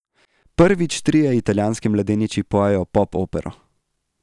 Prvič trije italijanski mladeniči pojejo popopero.